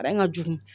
Aran ka jugu